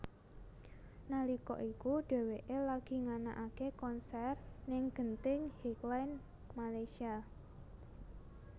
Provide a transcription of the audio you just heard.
Nalika iku dheweké lagi nganakaké konser ning Genting Highlands Malaysia